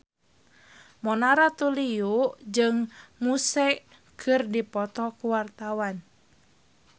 Mona Ratuliu jeung Muse keur dipoto ku wartawan